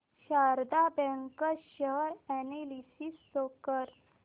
Sharda bank share analysis show कर